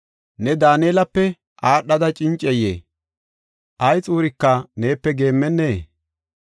Ne Daanelape aadhada cincay? Ay xuurika neepe geemmennee?